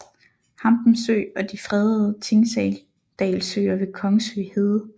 Hampen Sø og de fredede Tingdalsøer ved Kongsø Hede